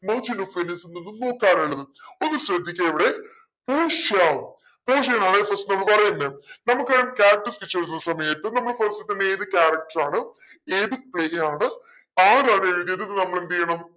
merchant of venice ൽ നിന്നും നോക്കാനുള്ളത് ഒന്ന് ശ്രദ്ധിക്കേ ഇവിടെ പോഷിയ പോർഷ്യനാണെ first നമ്മ പറയണ്ടേ നമുക്ക് character sketch വരുന്ന സമയത്ത് നമ്മൾ കുറച്ചു സമയം ഏത് character ആണോ ഏത് ആണോ ആരാണ് എഴുതിയതെന്ന് നമ്മളെന്തെയ്യണം